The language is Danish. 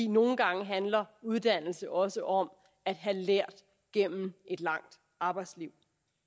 nogle gange handler uddannelse også om at have lært gennem et langt arbejdsliv